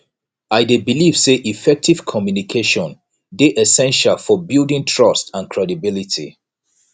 i dey believe say effective communication dey essential for building trust and credibility